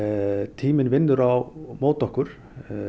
tíminn vinnur á móti okkur